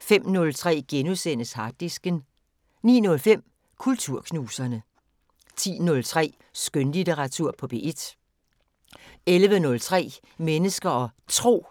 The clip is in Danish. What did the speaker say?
05:03: Harddisken * 09:05: Kulturknuserne 10:03: Skønlitteratur på P1 11:03: Mennesker og Tro